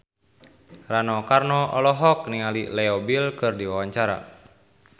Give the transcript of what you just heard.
Rano Karno olohok ningali Leo Bill keur diwawancara